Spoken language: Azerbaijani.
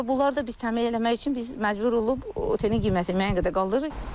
Və bunlar da biz təmin eləmək üçün biz məcbur olub otelin qiymətini müəyyən qədər qaldırırıq.